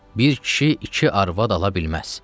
Bir kişi iki arvad ala bilməz.